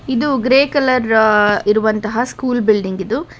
ಇದು grey colour ಇರುವಂತಹ school building ಇದು.